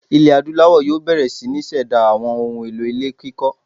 Ilẹ̀ Adúláwọ̀ yóò bẹ̀rẹ̀ sí ní ṣẹ̀dá àwọn ohun-èlò ilé kíkọ́.